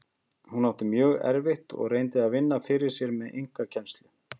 Hún átti mjög erfitt og reyndi að vinna fyrir sér með einkakennslu.